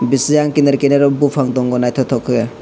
bisiyang kinar kirar o bopang tango naitok tok kei.